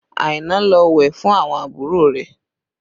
Aina ló wẹ̀ fún àwọn àbúrò rẹ̀